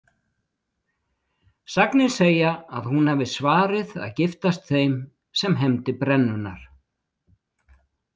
Sagnir segja að hún hafi svarið að giftast þeim sem hefndi brennunnar.